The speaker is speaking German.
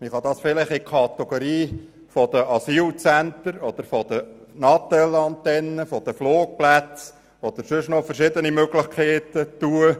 Man kann dies vielleicht der Kategorie der Asylzentren, der Natelantennen, der Flugplätze oder sonstigen Möglichkeiten zuordnen.